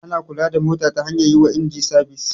Ana kula da mota ta hanyar yi wa inji sabis.